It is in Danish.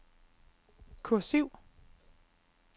kursiv